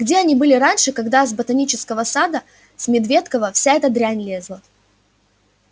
где они были раньше когда с ботанического сада с медведкова вся эта дрянь лезла